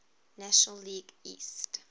national league east